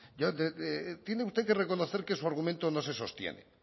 tiene usted que reconocer que su argumento no se sostiene